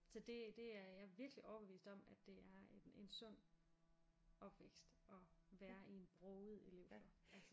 Så det det er jeg virkelig overbevist om at det er en en sund opvækst at være i en broget elevflok altså